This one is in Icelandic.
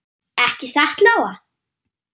Ekki satt Lóa?